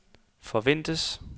forventes